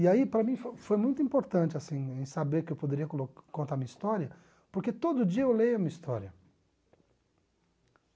E aí, para mim, foi foi muito importante assim saber que eu poderia colo contar a minha história, porque todo dia eu leio a minha história.